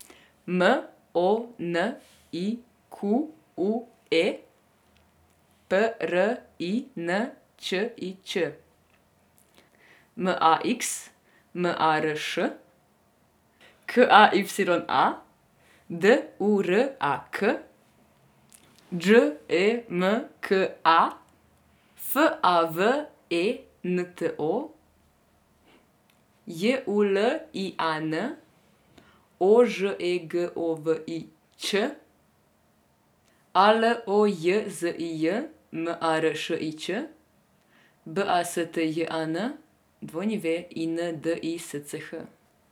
M O N I Q U E, P R I N Č I Č; M A X, M A R Š; K A Y A, D U R A K; Đ E M K A, F A V E N T O; J U L I A N, O Ž E G O V I Ć; A L O J Z I J, M A R Š I Č; B A S T J A N, W I N D I S C H.